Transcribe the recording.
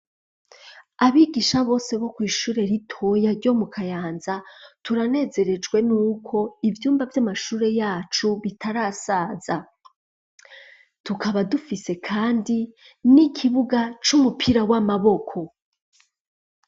Abigisha bose bo kw'ishure ritoya ryo mu kayanza turanezerejwe ni uko ivyumba vy'amashure yacu bitarasaza tukaba dufise, kandi n'ikibuga c'umupira w'amaboko.